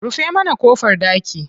Rufe mana ƙofar ɗaki.